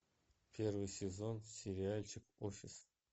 первый сезон сериальчик офис